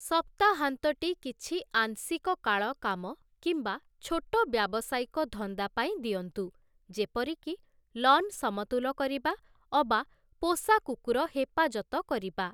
ସପ୍ତାହାନ୍ତଟି କିଛି ଆଂଶିକ କାଳ କାମ କିମ୍ବା ଛୋଟ ବ୍ୟାବସାୟିକ ଧନ୍ଦା ପାଇଁ ଦିଅନ୍ତୁ, ଯେପରିକି ଲନ୍ ସମତୁଲ କରିବା ଅବା ପୋଷାକୁକୁର ହେପାଜତ କରିବା ।